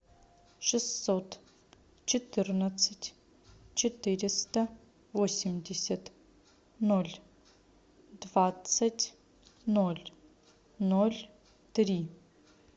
шестьсот четырнадцать четыреста восемьдесят ноль двадцать ноль ноль три